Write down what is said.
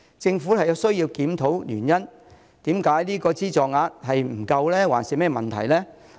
政府有需要檢討原因，是資助額不足還是甚麼問題呢？